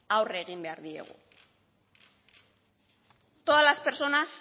aurre egin behar diegu todas las personas